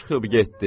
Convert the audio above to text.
Çıxıb getdi.